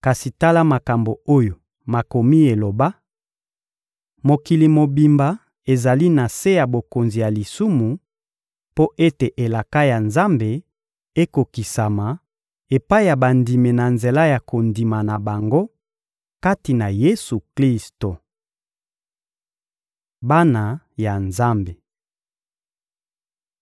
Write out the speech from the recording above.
Kasi tala makambo oyo Makomi eloba: Mokili mobimba ezali na se ya bokonzi ya lisumu mpo ete elaka ya Nzambe ekokisama epai ya bandimi na nzela ya kondima na bango kati na Yesu-Klisto. Bana ya Nzambe